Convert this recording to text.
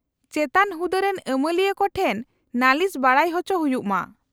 -ᱪᱮᱛᱟᱱ ᱦᱩᱫᱟᱹᱨᱮᱱ ᱟᱹᱢᱟᱹᱞᱤᱭᱟᱹ ᱠᱚ ᱴᱷᱮᱱ ᱱᱟᱹᱞᱤᱥ ᱵᱟᱰᱟᱭ ᱦᱚᱪᱚ ᱦᱩᱭᱩᱜ ᱢᱟ ᱾